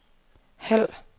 halv